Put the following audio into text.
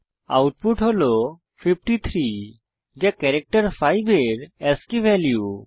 output হল 53 যা character 5 এর আস্কী ভ্যালু